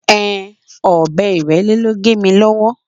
Ehn, ọ̀bẹ Ìrẹ́lé ló gé mi lọ́wọ́.